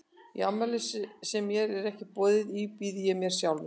Í afmæli sem mér er ekki boðið í býð ég mér bara sjálfur.